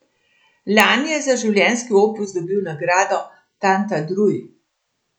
Lani je za življenjski opus dobil nagrado tantadruj.